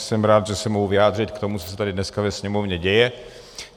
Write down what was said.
Jsem rád, že se mohu vyjádřit k tomu, co se tady dneska ve Sněmovně děje.